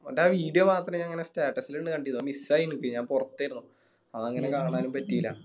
ഓൻറെ Video മാത്രം ഞാനിങ്ങനെ Status ല് ഇങ്ങനെ കണ്ടിനു അത് Miss ആയി എനിക്ക് ഞാൻ പൊറത്തേരുന്നു അതങ്ങനെ കാണാനും പറ്റില്ല